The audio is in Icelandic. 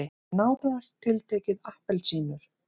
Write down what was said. Nánar tiltekið appelsínur.